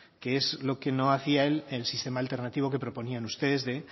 que es lo que no hacia el sistema alternativo que proponían ustedes de